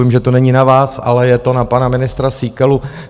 Vím, že to není na vás, ale je to na pana ministra Síkelu.